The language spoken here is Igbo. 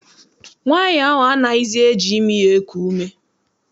Nwaanyi ahụ anaghịzi eji imi ya eku ume.